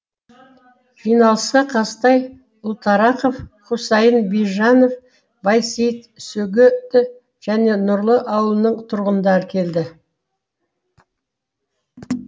жиналысқа қазтай ұлтарақов хусайын бижанов байсейіт сөгеті және нұрлы ауылының тұрғындары келді